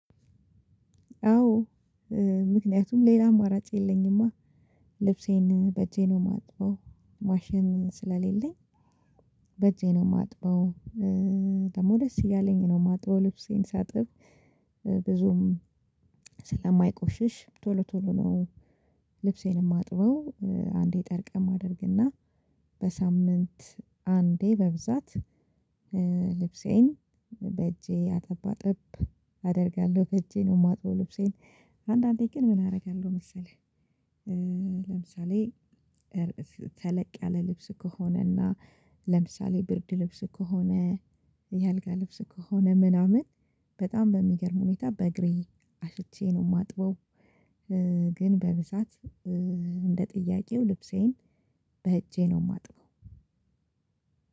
አዎ ምክንያቱም ሌላ አማራጭ የለኝማ። ልብሴን በእጄ ነው የማጥበው ማሽን ስለሌለኝ። በእጄ ነው እማጥበው። ደግሞ ደስ እያለኝ ነው እማጥበው ልብሴን ሳጥብ። ብዙም ስለማይቆሽሽ ቶሎ ቶሎ ነው። ልብሴን የማጥበው። አንዴ ጠርቀም አደርግና በሳምንት አንዴ በብዛት ልብሴን በእጄ አጠባአጠብ አደርጋለሁ። በእጄ ነው የማጥበው ልብሴን አንዳንዴ ግን ምን አደርጋለሁ መሰለህ። ለምሳሌ ተለቅ ያለ ልብስ ከሆነና ለምሳሌ ብርድ ልብስ ከሆነ የአልጋ ልብስ ከሆነ ምናምን በጣም በሚገርም ሁኔታ በእግሬ አሽቼ ነው እማጥበው። ግን በብዛት እንደ ጥያቄው ልብሴን በእጄ ነው እማጥበው።